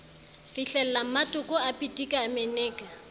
fihlelammatoko a pitika a meneka